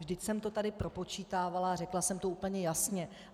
Vždyť jsem to tady propočítávala a řekla jsem to úplně jasně.